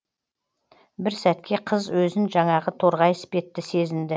бір сәтке қыз өзін жаңағы торғай іспетті сезінді